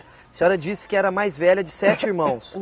A senhora disse que era a mais velha de sete irmãos.